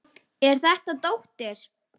Er þetta dóttir.